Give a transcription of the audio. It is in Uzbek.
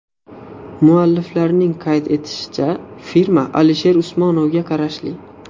Mualliflarning qayd etishicha, firma Alisher Usmonovga qarashli.